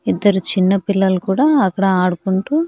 ఇద్దరు చిన్నపిల్లలు కూడా అక్కడ ఆడుకుంటూ.